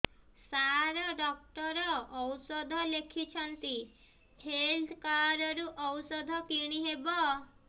ସାର doctor ଔଷଧ ଲେଖିଛନ୍ତି health card ରୁ ଔଷଧ କିଣି ହେବ